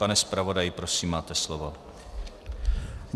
Pane zpravodaji, prosím máte slovo.